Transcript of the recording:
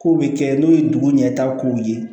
Kow be kɛ n'o ye dugu ɲɛtaga kow ye